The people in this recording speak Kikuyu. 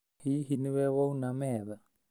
Hihi nĩ we wauna metha?